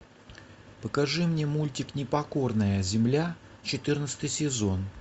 покажи мне мультик непокорная земля четырнадцатый сезон